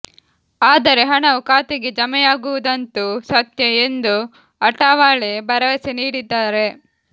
ಆದರೆ ಹಣವು ಖಾತೆಗೆ ಜಮೆಯಾಗುವುದಂತೂ ಸತ್ಯ ಎಂದು ಅಠಾವಳೆ ಭರವಸೆ ನೀಡಿದ್ದಾರೆ